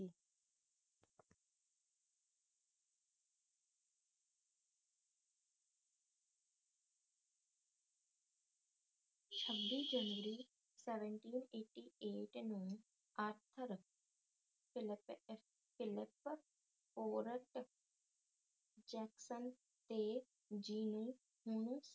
ਛੰਬੀ ਜਨਵਰੀਨੂੰ seventeen eighty eight Arthur Phillip Port Jackson ਤੇ ਜੀਨੂੰ ਹੁਣ